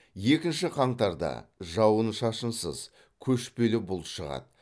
екінші қаңтарда жауын шашынсыз көшпелі бұлт шығады